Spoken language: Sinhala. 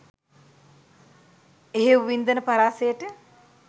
එහෙව් වින්දන පරාසයට